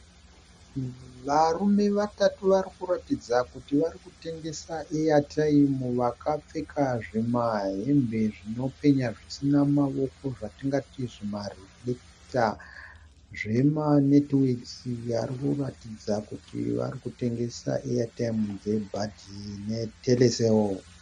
Varume vatatu varikuratidza kuti varikutengesa eyatiyimu vakapfeka zvimahembe zvinopenya zvisina maoko zvatingati zvimarefireketa zvemanetiwekisi varikuratidza kuti varikutengesa eyatiyimu dzebuddie netelecel.